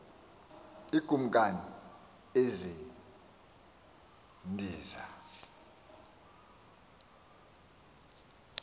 iikumkani ezi ndiza